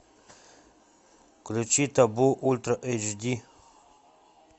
включи табу ультра эйч ди